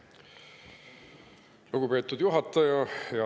Lugupeetud juhataja!